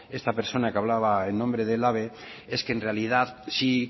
esta persona que hablaba en nombre de elhabe es que en realidad sí